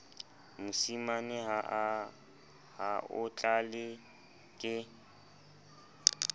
mosima ha o tlale ke